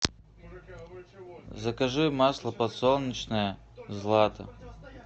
закажи масло подсолнечное злато